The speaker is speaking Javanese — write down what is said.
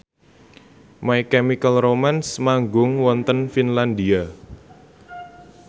My Chemical Romance manggung wonten Finlandia